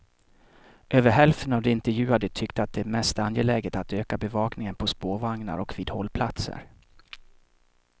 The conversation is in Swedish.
Över hälften av de intervjuade tyckte att det är mest angeläget att öka bevakningen på spårvagnar och vid hållplatser.